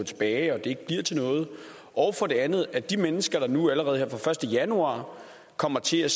tilbage og at det ikke bliver til noget og for det andet at de mennesker der nu allerede her fra den første januar kommer til at